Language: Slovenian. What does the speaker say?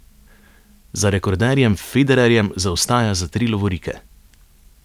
Za rekorderjem Federerjem zaostaja za tri lovorike.